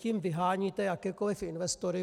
Tím vyháníte jakékoli investory.